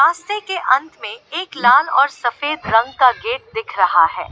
दृश्य के अंत में एक लाल और सफेद रंग का गेट दिख रहा है।